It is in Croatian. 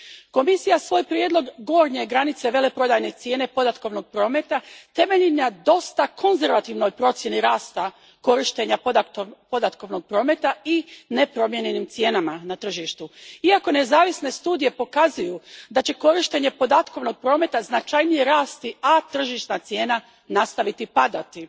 Komisija svoj prijedlog gornje granice veleprodajne cijele podatkovnog prometa temelji na dosta konzervativnoj procjeni rasta korištenja podatkovnog prometa i nepromijenjenim cijenama na tržištu, iako nezavisne studije pokazuju da će korištenje podatkovnog prometa značajnije rasti, a tržišna cijena nastaviti padati.